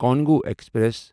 Congo express